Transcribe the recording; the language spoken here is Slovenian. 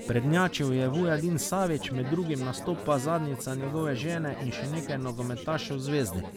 Prednjačil je Vujadin Savić, med drugim nastopa zadnjica njegove žene in še nekaj nogometašev Zvezde.